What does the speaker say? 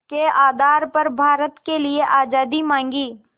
के आधार पर भारत के लिए आज़ादी मांगी